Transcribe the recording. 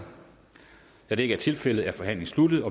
da det ikke er tilfældet er forhandlingen sluttet